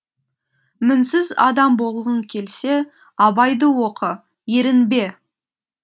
мінсіз адам болғың келсе абайды оқы ерінбе